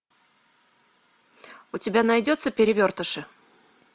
у тебя найдется перевертыши